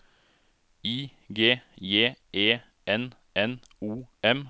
I G J E N N O M